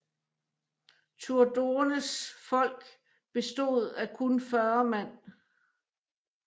Turdurnes folk bestod af kun 40 mand